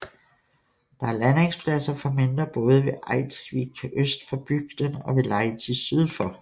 Der er landingspladser for mindre både ved Eiðsvík øst for bygden og ved Leiti syd for